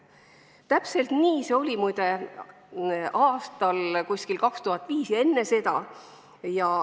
Muide, täpselt nii oli see umbes aastal 2005 ja enne seda.